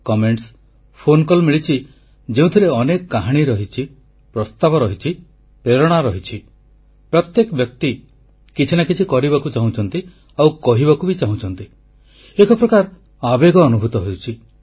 ଏଥର ବି ମୁଁ ଦେଖିଛି ଯେ ବହୁତ ଚିଠି ଫୋନ ମିଳିଛି ଯେଉଁଥିରେ ଅନେକ କାହାଣୀ ରହିଛି ପ୍ରସ୍ତାବ ରହିଛି ପ୍ରେରଣା ରହିଛିପ୍ରତ୍ୟେକ ବ୍ୟକ୍ତି କିଛି ନା କିଛି କରିବାକୁ ଚାହୁଁଛନ୍ତି ଆଉ କହିବାକୁ ବି ଚାହୁଁଛନ୍ତି ଏକ ପ୍ରକାର ଆବେଗ ଅନୁଭୂତ ହେଉଛି